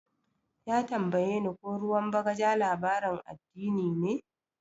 Ya tambaye ko ruwan bagaja labarin addini ne.